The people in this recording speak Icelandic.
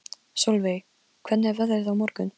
Solveig, hvernig er veðrið á morgun?